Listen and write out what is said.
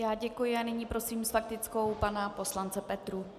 Já děkuji a nyní prosím s faktickou pana poslance Petrů.